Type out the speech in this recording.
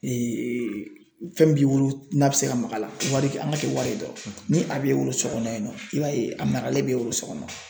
fɛn b'i bolo n'a bɛ se ka mag'a la wari an ka kɛ wari dɔrɔn ni a b'e wolo so kɔnɔ yen nɔ i b'a ye a maralen b'e bolo so kɔnɔ.